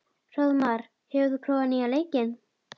Hróðmar, hefur þú prófað nýja leikinn?